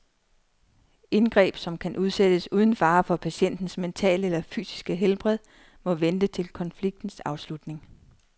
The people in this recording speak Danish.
Indgreb, som kan udsættes uden fare for patientens mentale eller fysiske helbred, må vente til konfliktens afslutning.